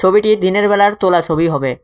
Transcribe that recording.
ছবিটি দিনের বেলার তোলা ছবি হবে।